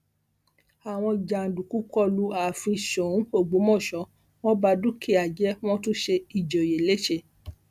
àwọn jàǹdùkú kọ lu ààfin sóun ọgbọmọṣẹ wọn bá dúkìá jẹ wọn tún ṣe ìjòyè lé ṣe